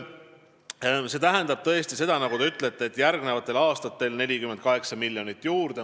See tähendab tõesti seda, nagu te ütlesite, et järgnevatel aastatel on vaja 48 miljonit juurde.